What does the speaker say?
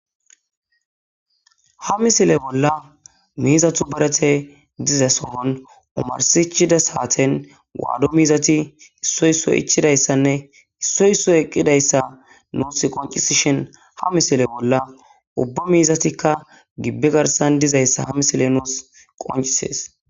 ha misile bolla miizatu barete diza sohon umarsichida saaten waado miizati issoysso ichidayssanne issoyso eqqidayssa nuus qoncisishin ha misile bolla ubba miizatikka gibbe garsan dizayssa ha misile nuus qoncisees